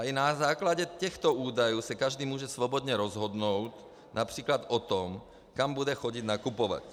A i na základě těchto údajů se každý může svobodně rozhodnout například o tom, kam bude chodit nakupovat.